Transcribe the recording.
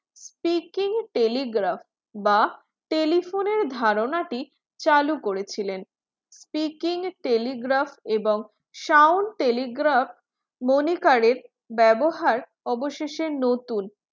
peeking telegraph বা telephone ধারণা টি চালু করেছিলেন peeking telegraph এবং sound telegraph মনিকারের ব্যবহার অবশেষে নতুন